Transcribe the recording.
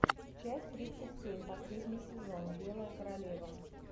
часть тридцать семь последний сезон белая королева